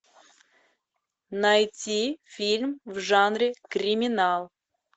найти фильм в жанре криминал